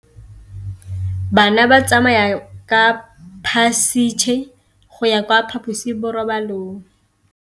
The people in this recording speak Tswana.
Bana ba tsamaya ka phašitshe go ya kwa phaposiborobalong.